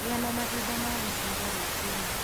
Gĩa na mahinda ma gũcera rũciinĩ